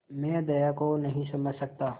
मैं दया को नहीं समझ सकता